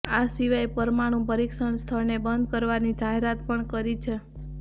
આ સિવાય પરમાણુ પરીક્ષણ સ્થળને બંધ કરવાની જાહેરાત પણ કરી છે